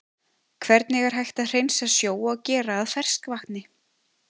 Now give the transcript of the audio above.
Hvernig er hægt að hreinsa sjó og gera að ferskvatni?